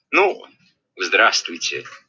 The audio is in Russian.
ну здравствуйте